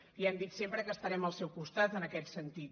li hem dit sempre que estarem al seu costat en aquest sentit